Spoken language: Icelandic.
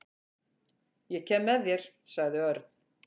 Ég kem með þér sagði Örn.